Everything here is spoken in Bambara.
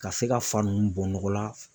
Ka se ka fa ninnu bɔ nɔgɔla.